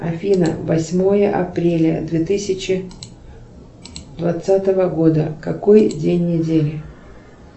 афина восьмое апреля две тысячи двадцатого года какой день недели